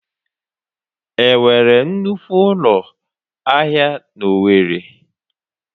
Enwere nnukwu ụlọ ahịa na owerri?